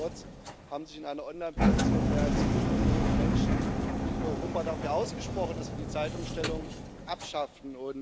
Nichtdestotrotz haben sich in einer Online Petition mehr als vier Millionen Menschen in Europa dafür ausgesprochen, dass wir die Zeitumstellung abschaffen.